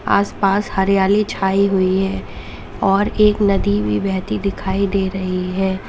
आस पास हरियाली छाई हुई है और एक नदी भी बहती दिखाई दे रही है।